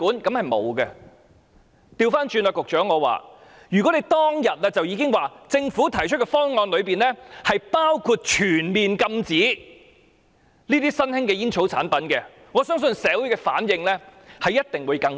反過來說，局長，如果當天已說明政府提出的方案包括全面禁止新型吸煙產品，我相信社會的反應一定會更大。